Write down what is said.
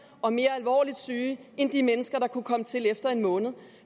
og mere alvorligt syge end de mennesker der kunne komme til efter en måned